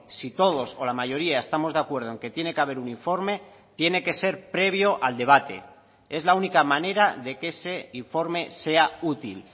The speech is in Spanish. si todos o la mayoría estamos de acuerdo en que tiene que haber un informe tiene que ser previo al debate es la única manera de que ese informe sea útil